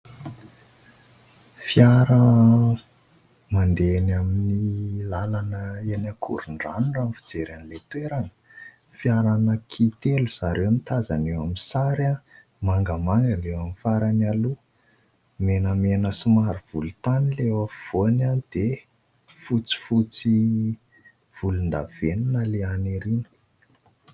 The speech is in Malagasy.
Fiara mandeha eny amin'ny lalana eny Akorondrano raha ny fijery an'ilay toerana. Fiara anankitelo zareo no tazana eo amin'ny sary, mangamanga ilay eo amin'ny farany aloha, menamena somary volotany ilay eo afovoany, dia fotsifotsy volondavenona ilay any aoriana.